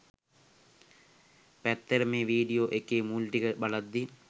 ඇත්තට මේ වීඩියෝ එකේ මුල් ටික බලද්දී